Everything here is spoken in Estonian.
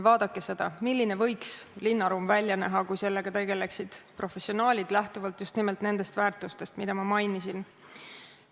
Vaadake, milline võiks linnaruum välja näha, kui sellega tegeleksid professionaalid lähtuvalt just nimelt nendest väärtustest, mida ma mainisin.